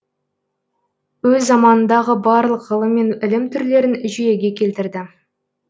өз заманындағы барлық ғылым мен ілім түрлерін жүйеге келтірді